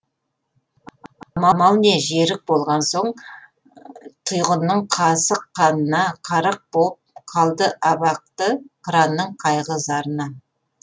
амал не жерік болған соң тұйғынның қасық қанына қарық боп қалды абақты қыранның қайғы зарына